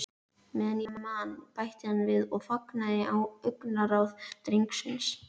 Meðan ég man- bætti hann við og fangaði augnaráð drengsins.